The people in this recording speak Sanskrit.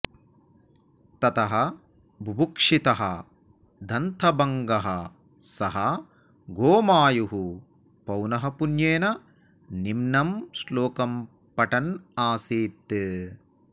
ततः बुभुक्षितः दन्तभङ्गः सः गोमायुः पौनःपुन्येन निम्नं श्लोकं पठन् आसीत्